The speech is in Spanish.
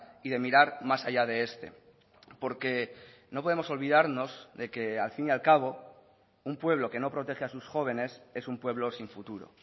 y de mirar más allá de este porque no podemos olvidarnos de que al fin y al cabo un pueblo que no protege a sus jóvenes es un pueblo sin futuro